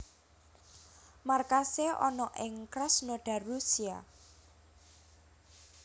Markasé ana ing Krasnodar Rusia